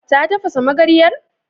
Ta tafasa magaryar?